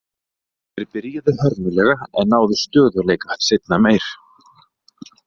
Þeir byrjuðu hörmulega en náðu stöðugleika seinna meir.